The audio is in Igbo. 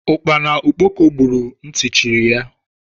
Ukpana okpoko buuru ntị chiri ya.